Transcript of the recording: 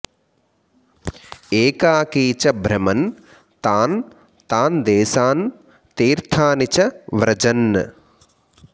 एकाकी च भ्रमन् तान् तान्देशान् तीर्थानि च व्रजन्